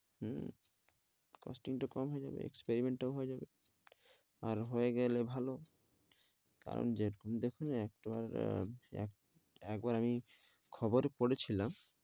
উম costing টা কম হয়ে যাবে experiment টাও হয়ে যাবে আর হয়ে গেলে ভালো কারণ যেহেতু দেখুন একলার আহ একবার এই খবর করেছিলাম,